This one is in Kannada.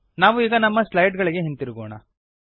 ನಾವು ಈಗ ನಮ್ಮ ಸ್ಲೈಡ್ ಗಳಿಗೆ ಹಿಂದಿರುಗೋಣ